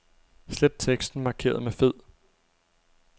Slet teksten markeret med fed.